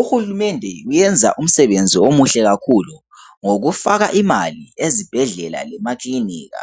Uhulumende uyenza umsebenzi omuhle kakhulu ngokufaka imali ezibhedlela lemaklinika